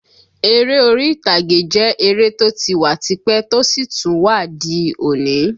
Ère orí ìtàgé jẹ́ eré tó ti wà tipẹ́ tó sì tún wà di òní